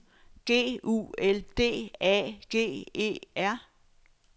G U L D A G E R